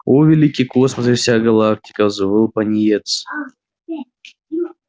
о великий космос и вся галактика взвыл пониетс